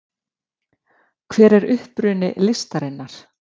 hver er uppruni listarinnar